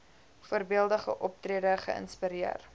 voorbeeldige optrede geïnspireer